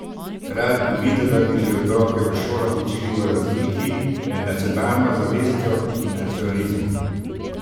Rad bi videl, da bi že otroke v šolah učili o razliki med nacionalno zavestjo in nacionalizmom.